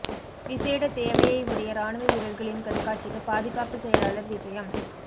விசேட தேவையை உடைய இராணுவ வீரர்களின் கண்காட்சிக்கு பாதுகாப்பு செயலாளர் விஜயம்